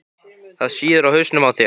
Það sýður á hausnum á þér!